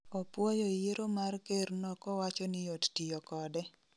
Opuoyo yiero mar ker no kowacho ni yot tiyo kode